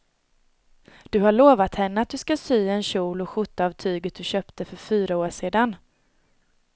Du har lovat henne att du ska sy en kjol och skjorta av tyget du köpte för fyra år sedan.